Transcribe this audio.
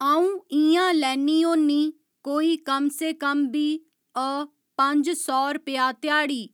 अं'ऊ इं'या लैन्नी होन्नी कोई कम से कम बी अ पंज सौ रपेआ ध्याड़ी